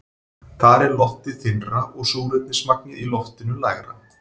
Þar er loftið þynnra og súrefnismagnið í loftinu lægra.